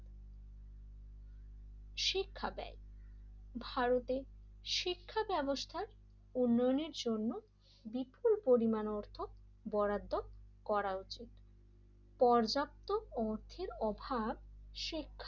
শিক্ষা ব্যয়, ভারতের শিক্ষা ব্যবস্থা উন্নয়নের জন্য বিপুল পরিমাণ অর্থ বরাদ্দ করা উচিত পর্যাপ্ত অর্থের অভাব শিক্ষার,